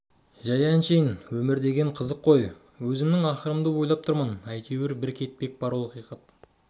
жәй әншейін өмір деген қызық қой өзімнің ақырымды ойлап тұрмын әйтеуір бір кетпек бар ол ақиқат